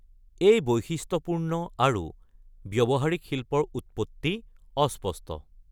এই বৈশিষ্ট্যপূৰ্ণ আৰু ব্যৱহাৰিক শিল্পৰ উৎপত্তি অস্পষ্ট।